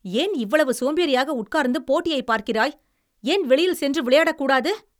ஏன் இவ்வளவு சோம்பேறியாக உட்கார்ந்து போட்டியை பார்க்கிறாய்? ஏன் வெளியில் சென்று விளையாடக்கூடாது?